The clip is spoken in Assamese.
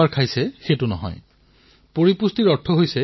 ইয়াৰ অৰ্থ হল যে আপোনাৰ শৰীৰে কিমান প্ৰয়োজনীয় পুষ্টি লাভ কৰিছে